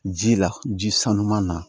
Ji la ji sanuman na